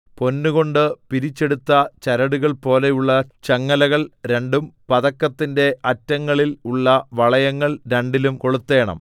പൊന്നുകൊണ്ട് പിരിച്ചെടുത്ത ചരടുകൾ പോലെയുള്ള ചങ്ങലകൾ രണ്ടും പതക്കത്തിന്റെ അറ്റങ്ങളിൽ ഉള്ള വളയങ്ങൾ രണ്ടിലും കൊളുത്തേണം